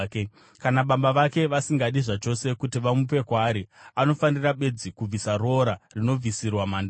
Kana baba vake vasingadi zvachose kuti vamupe kwaari, anofanira bedzi kubvisa roora rinobvisirwa mhandara.